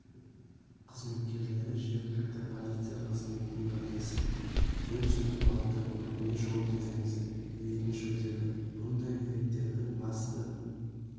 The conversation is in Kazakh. қызметкерлері жергілікті полиция қызметімен бірлесіп өрт сөндіру автокөлігіне жол беріңіз рейдін жүргізді бұндай рейдтердің басты